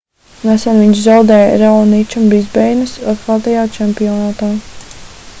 nesen viņš zaudēja raoničam brisbeinas atklātajā čempionātā